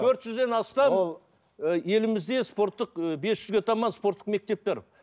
төрт жүзден астам елімізде спорттық бес жүзге таман спорттық мектептер